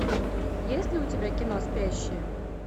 есть ли у тебя кино спящие